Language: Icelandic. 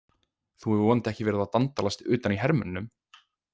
Þú hefur vonandi ekki verið að dandalast utan í hermönnunum?